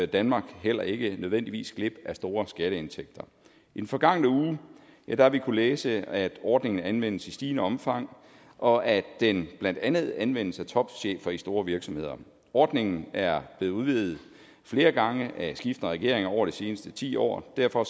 danmark heller ikke nødvendigvis glip af store skatteindtægter i den forgangne uge har vi kunnet læse at ordningen anvendes i stigende omfang og at den blandt andet anvendes af topchefer i store virksomheder ordningen er blevet udvidet flere gange af skiftende regeringer over de seneste ti år og derfor